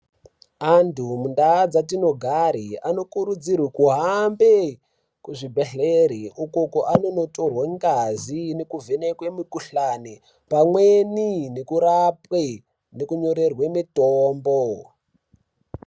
Antu mundaa dzatinogare anokurudzirwe kuhambe kuzvibhedhlera uko kwaononotorwe ngazi kuvhenekwe mukuhlani pamweni nokurapwe nokunyorerwe mitombo.